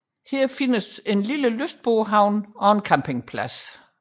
Her findes en lille lystbådehavn og en campingplads